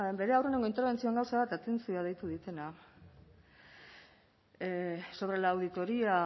bere aurreneko interbentzioan gauza bat eta atentzioa deitu didana sobre la auditoría